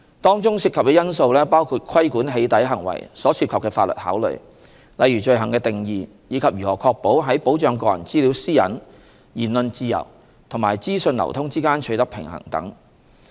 當中涉及的因素包括規管"起底"行為所涉及的法律考慮，例如罪行的定義及如何確保在保障個人資料私隱、言論自由和資訊流通之間取得平衡等。